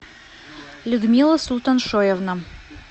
людмила султаншоевна